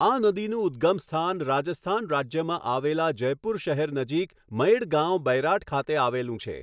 આ નદીનું ઉદ્ગમસ્થાન રાજસ્થાન રાજ્યમાં આવેલા જયપુર શહેર નજીક મૈડ ગાંવ બૈરાઠ ખાતે આવેલું છે.